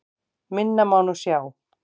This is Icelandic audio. Minna má nú sjá.